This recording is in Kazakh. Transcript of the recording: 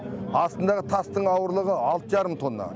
астындағы тастың ауырлығы алты жарым тонна